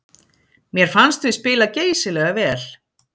Mér fannst við spila geysilega vel